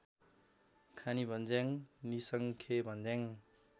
Khanibhanjyang Nisankhebhanjyang